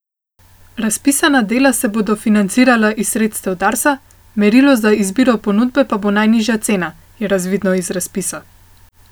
Razpisana dela se bodo financirala iz sredstev Darsa, merilo za izbiro ponudbe pa bo najnižja cena, je razvidno iz razpisa.